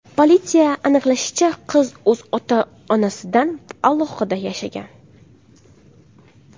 Politsiya aniqlashicha, qiz o‘z ota-onasidan alohida yashagan.